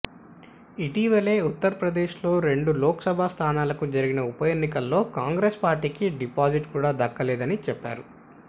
ఇటీవల ఉత్తర్ప్రదేశ్లో రెండు లోక్సభ స్థానాలకు జరిగిన ఉప ఎన్నికల్లో కాంగ్రెస్ పార్టీకి డిపాజిట్ కూడా దక్కలేదని చెప్పారు